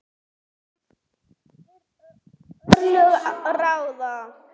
En örlög ráða.